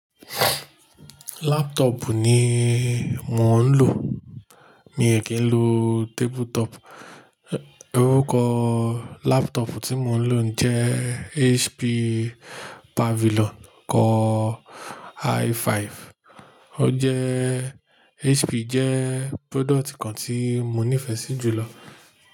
Laptop ni mo ń lò, mi ò kí ń lo tabletop. Orúkọ laptop tí mo ń lò jẹ́ HP Pavilion core i5. O jẹ́, HP jẹ́ product kan tí mo nífẹ̀ẹ́ sí jùlọ.